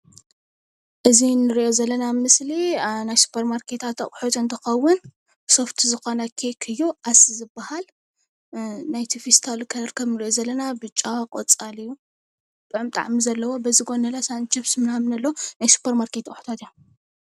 እዚ እንርኦ ዘለና ምስሊ ናይ ስፖርማርኬት ኣቁሑት እንትኮውን ሶፍቲ ዝኮነ ኬክ እዩ ኣስ ዝባሃል ናይቲ ፌስታል ሕብሪ ብጫ ቆፃል እዩ ጡዑም ጣዕሚ ዘለዎ እዩ። በዚ ጎኒ ሳንችብስ ኣሎ።